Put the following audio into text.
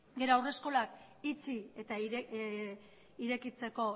gero haurreskolak itxi eta irekitzeko